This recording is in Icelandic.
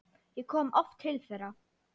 Ég kom oft til þeirra.